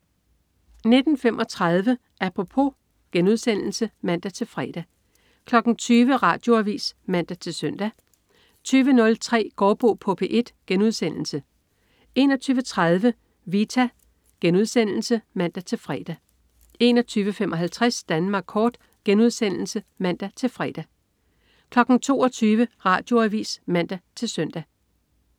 19.35 Apropos* (man-fre) 20.00 Radioavis (man-søn) 20.03 Gaardbo på P1* 21.30 Vita* (man-fre) 21.55 Danmark kort* (man-fre) 22.00 Radioavis (man-søn)